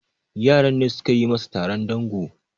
yaran ne suka yi masa Taron dango